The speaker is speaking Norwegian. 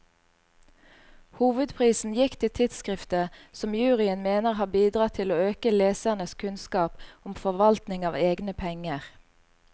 Hovedprisen gikk til tidskriftet, som juryen mener har bidratt til å øke lesernes kunnskap om forvaltning av egne penger.